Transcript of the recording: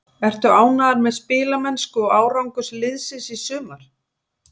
Ertu ánægður með spilamennsku og árangur liðsins í sumar?